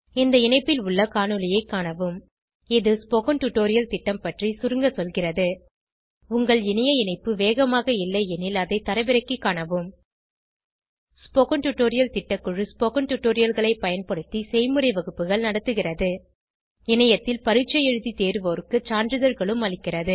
இந்த இணைப்பில் உள்ள காணொளியைக் காணவும் இது ஸ்போகன் டுடோரியல் திட்டம் பற்றி சுருங்க சொல்கிறது உங்கள் இணைய இணைப்பு வேகமாக இல்லையெனில் அதை தரவிறக்கிக் காணவும் ஸ்போகன் டுடோரியல் திட்டக்குழு ஸ்போகன் டுடோரியல்களைப் பயன்படுத்தி செய்முறை வகுப்புகள் நடத்துகிறது இணையத்தில் பரீட்சை எழுதி தேர்வோருக்கு சான்றிதழ்களும் அளிக்கிறது